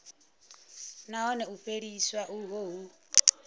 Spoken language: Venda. nahone u fheliswa uho hu